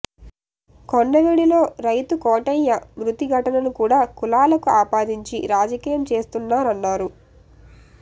కొండవీడులో రైతు కోటయ్య మృతి ఘటనను కూడా కులాలకు ఆపాదించి రాజకీయం చేస్తున్నారన్నారు